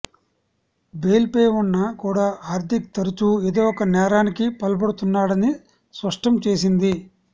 బెయిల్పై ఉన్నా కూడా హార్దిక్ తరచూ ఏదో ఒక నేరానికి పాల్పడుతున్నాడని స్పష్టం చేసింది